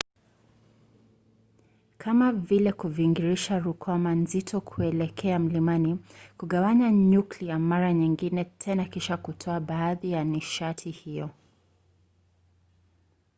kama vile kuviringisha rukwama nzito kuelekea mlimani. kugawanya nyuklia mara nyingine tena kisha kutoa baadhi ya nishati hiyo